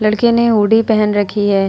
लड़के ने हुडी पहन रखी है।